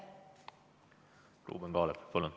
Ruuben Kaalep, palun!